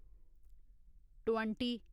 twenty